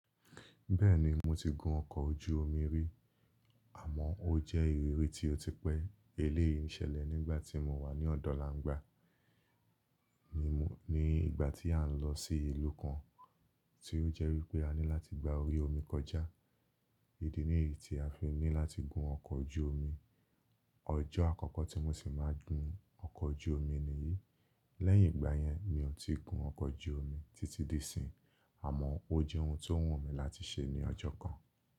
Bẹ́ẹ̀ni mo ti gun ọkọ̀ ojú omi rí, àmọ́ ó jẹ́ ìrírí tí ó ti pẹ́. Eléyìí ṣẹlẹ̀ nígbà tí mo wà ní ọ̀dọ̀langba ní ìgbà tí à ń lọ sí ìlú kan, tí ó jẹ́ wípé a ní láti gba orí omi kọjá. Idi niyii tí a fi ní láti gun ọkọ̀ ojú omi. Ọjọ́ àkọ́kọ́ tí mo sì máa gùn ọkọ̀ ojú omi nìyí. Lẹ́yìn ìgbà yẹn mi ò tí ì gun ọkọ̀ ojú omi títí di ìsín, àmọ́ ó jẹ́ ohun tó wù mí láti ṣe ní ọjọ́ kan.